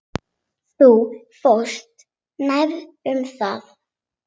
Þú fórst nærri um það.